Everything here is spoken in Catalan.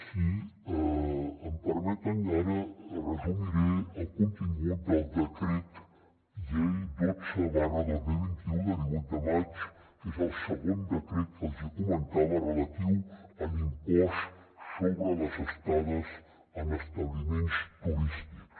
si m’ho permeten ara resumiré el contingut del decret llei dotze dos mil vint u de divuit de maig que és el segon decret que els comentava relatiu a l’impost sobre les estades en establiments turístics